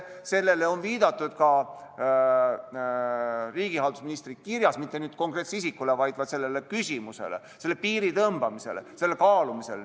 Sellele on viidatud ka riigihalduse ministri kirjas, mitte kui konkreetsele isikule, vaid viidati sellele küsimusele, selle piiri tõmbamisele, selle kaalumisele.